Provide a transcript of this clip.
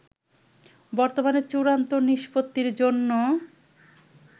বর্তমানে চূড়ান্ত নিষ্পত্তির জন্য